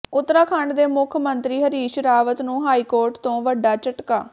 ਊਤਰਾਖੰਡ ਦੇ ਮੁੱਖ ਮੰਤਰੀ ਹਰੀਸ਼ ਰਾਵਤ ਨੂੰ ਹਾਈਕੋਰਟ ਤੋਂ ਵੱਡਾ ਝਟਕਾ